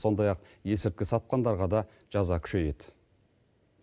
сондай ақ есірткі сатқандарға да жаза күшейеді